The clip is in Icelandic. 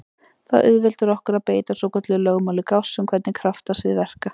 Þetta auðveldar okkur að beita svokölluðu lögmáli Gauss um hvernig kraftsvið verka.